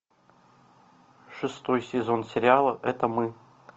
шестой сезон сериала это мы